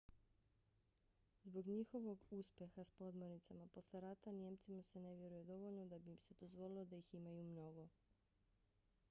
zbog njihovog uspeha s podmornicama posle rata nijemcima se ne vjeruje dovoljno da bi im se dozvolilo da ih imaju mnogo